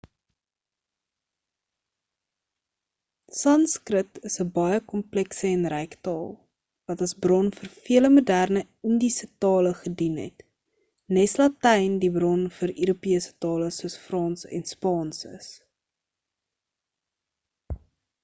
sanskrit is 'n baie komplekse en ryk taal wat as bron vir vele moderne indiese tale gedien het nes latyn die bron vir europese tale soos frans en spaans is